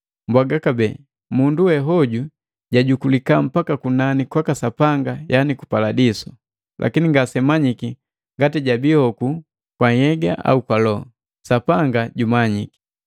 Mbwaga kabee, mundu we hoju jajukulika mpaka kunani kwaka Sapanga yaani ku Paladiso. Lakini ngasemanyiki ngati jabii hoku kwa nhyega au loho, Sapanga jumanyiki.